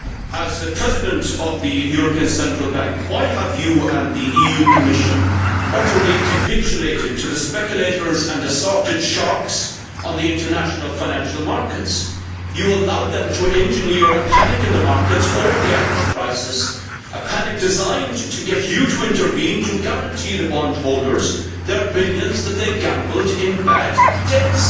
As President of the European Central Bank, why have you and the European Commission utterly capitulated to the speculators and assorted sharks on the international financial markets? You allowed them to engineer a panic in the markets over the Irish crisis a panic designed to get you to intervene to guarantee the bond holders the billions that they gambled in bad debts.